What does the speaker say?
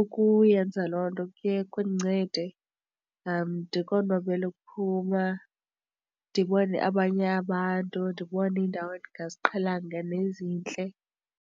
Ukuyenza loo nto kuqala kuye kundincede ndikonwabele ukuphuma ndibone abanye abantu, ndibone iindawo engaziqhelanga nezintle.